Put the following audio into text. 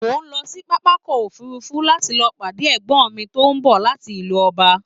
Mo lọ sí pápákọ̀ òfurufú láti lọ pàdé ẹ̀gbọ́n mi tó ń bọ̀ láti ìlú ọba